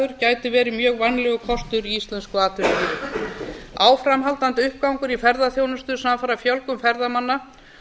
gagnaversiðnaður gæti verið mjög vænlegur kostur í íslensku atvinnulífi áframhaldandi uppgangur í ferðaþjónustu samfara fjölgun ferðamanna